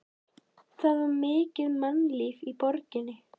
Það var mikið mannlíf í borginni.